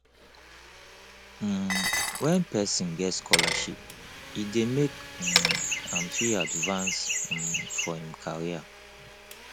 um when person get scholarship e dey make um am fit advance um for im career